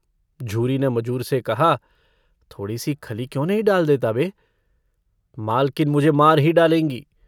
झूरी ने मजूर से कहा - थोड़ीसी खली क्यों नहीं डाल देता बे? मालकिन मुझे मार ही डालेंगी।